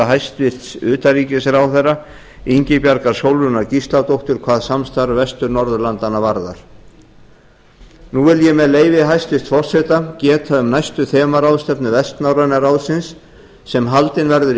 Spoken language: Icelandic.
hæstvirts utanríkisráðherra ingibjargar sólrúnar gísladóttur hvað samstarf vestur norðurlandanna varðar nú vil ég með leyfi hæstvirts forseta geta um næstu þemaráðstefnu vestnorræna ráðsins sem haldin verður í